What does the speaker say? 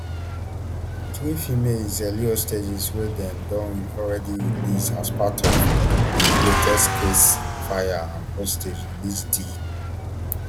three female israeli hostages wey dem don already release as part of di latest ceasefire and hostage release deal